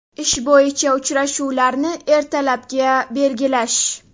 Ish bo‘yicha uchrashuvlarni ertalabga belgilash.